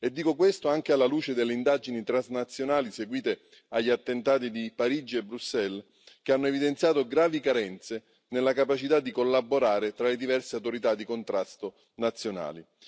E dico questo anche alla luce delle indagini transnazionali seguite agli attentati di Parigi e Bruxelles, che hanno evidenziato gravi carenze nella capacità di collaborare tra le diverse autorità di contrasto nazionali.